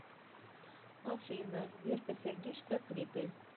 афина верка сердючка клипы